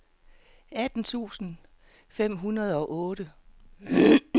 atten tusind fem hundrede og otte